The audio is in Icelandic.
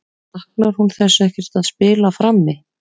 Saknar hún þess ekkert að spila frammi?